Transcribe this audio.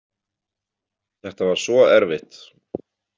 Þetta var svo erfitt.